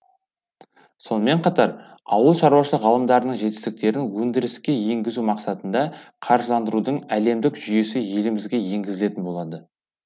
сонымен қатар ауыл шаруашылық ғалымдарының жетіктістерін өндіріске енгізу мақсатында қаржыландырудың әлемдік жүйесі елімізге енгізілетін болады